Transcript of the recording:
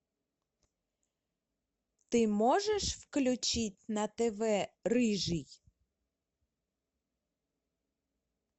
ты можешь включить на тв рыжий